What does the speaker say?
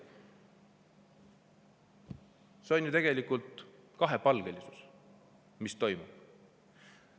See on ju tegelikult kahepalgelisus, mis toimub.